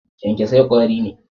kyankyasai kwari ne.